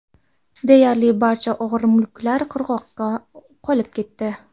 Deyarli barcha og‘ir mulklar qirg‘oqda qolib ketdi.